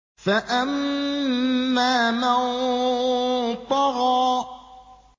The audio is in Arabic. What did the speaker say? فَأَمَّا مَن طَغَىٰ